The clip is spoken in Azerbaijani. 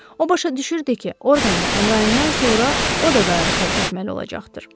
O başa düşürdü ki, Orqan və Əmrayindən sonra o da qayığı tərk etməli olacaqdır.